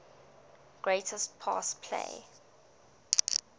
greatest pass play